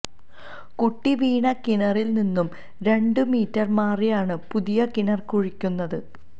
കുട്ടി വീണ കിണറില് നിന്നും രണ്ടു മീറ്റര് മാറിയാണ് പുതിയ കിണര് കുഴിക്കുന്നത്